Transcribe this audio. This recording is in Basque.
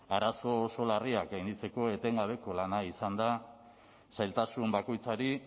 arazo oso larriak gainditzeko etengabeko lana izan da zailtasun bakoitzari